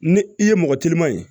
Ni i ye mɔgɔ teliman ye